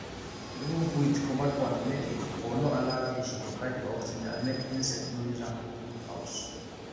remove weeed comot pond make e for no allow fish de fight for oxygen and make insects no use am do house